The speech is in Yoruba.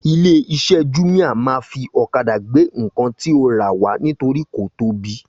ilé iṣé júmíá ma fí ọ̀kadà gbé ǹkan tí o ra wá nítorí kò tóbi